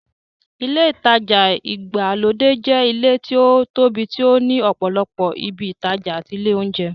Ilé ìtajà ìgbàlódé jẹ́ ilé tí ó tóbi tí ó ní ọ̀pọ̀lọpọ̀ ibi ìtajà àti ilé óúnjẹ.